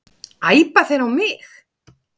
Æpa þeir á mig?